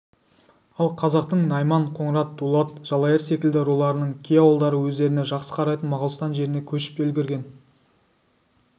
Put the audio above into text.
ал қазақтың найман қоңырат дулат жалайыр секілді руларының кей ауылдары өздеріне жақсы қарайтын моғолстан жеріне көшіп те үлгірген